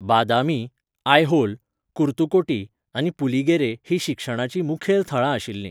बादामी, आयहोल, कुर्तुकोटी आनी पुलीगेरे हीं शिक्षणाचीं मुखेल थळां आशिल्लीं.